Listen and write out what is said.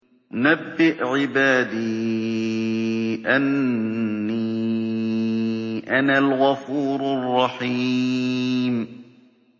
۞ نَبِّئْ عِبَادِي أَنِّي أَنَا الْغَفُورُ الرَّحِيمُ